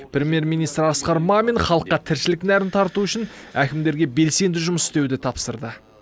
премьер министр асқар мамин халыққа тіршілік нәрін тарту үшін әкімдерге белсенді жұмыс істеуді тапсырды